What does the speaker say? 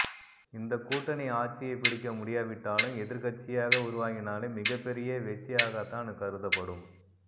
இந்த கூட்டணி ஆட்சியை பிடிக்க முடியாவிட்டாலும் எதிர்க்கட்சியாக உருவாகினாலே மிகப்பெரிய வெற்றியாகத்தான் கருதப்படும்